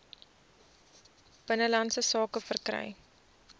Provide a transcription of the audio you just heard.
binnelandse sake verkry